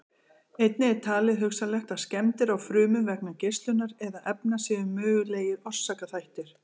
Einnig er talið hugsanlegt að skemmdir á frumum vegna geislunar eða efna séu mögulegir orsakaþættir.